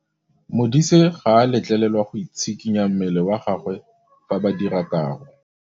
Modise ga a letlelelwa go tshikinya mmele wa gagwe fa ba dira karô.